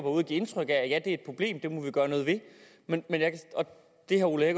og give indtryk af at ja det er et problem det må vi gøre noget ved og det herre ole